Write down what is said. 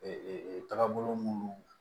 tagabolo munnu